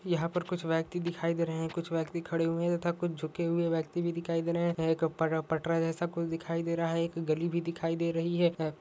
यहा पर कुछ व्यक्ति दिखाई दे रहे है कुछ व्यक्ति खड़े हुए है तथा कुछ झुके हुए व्यक्ति भी दिखाई दे रहे है पत्-पटरा जैसा कुछ दिखाई दे रहा है एक गली भी दिखाई दे रही है।